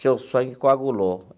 Seu sangue coagulou.